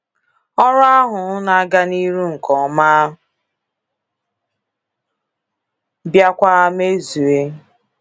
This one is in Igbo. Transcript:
Ọrụ ahụ na-aga n'iru nke ọma bịakwa mezue.